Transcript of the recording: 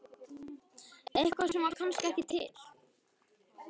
Eitthvað sem var kannski ekki til.